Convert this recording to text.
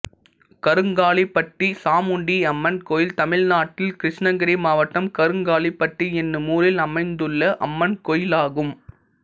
கருங்காலிப்பட்டி சாமுண்டியம்மன் கோயில் தமிழ்நாட்டில் கிருஷ்ணகிரி மாவட்டம் கருங்காலிப்பட்டி என்னும் ஊரில் அமைந்துள்ள அம்மன் கோயிலாகும்